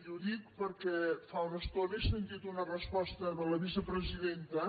i ho dic perquè fa una estona he sentit una resposta de la vicepresidenta